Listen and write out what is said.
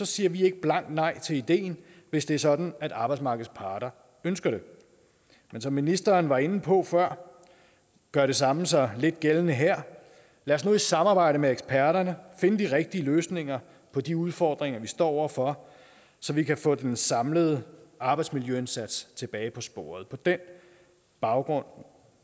siger vi ikke blankt nej til ideen hvis det er sådan at arbejdsmarkedets parter ønsker det men som ministeren var inde på før gør det samme sig lidt gældende her lad os nu i samarbejde med eksperterne finde de rigtige løsninger på de udfordringer vi står over for så vi kan få den samlede arbejdsmiljøindsats tilbage på sporet på den baggrund